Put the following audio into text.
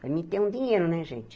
Para mim, ter um dinheiro, né, gente?